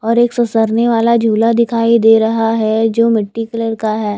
और एक ससरने वाला झूला दिखाई दे रहा है जो मिट्टी कलर का है।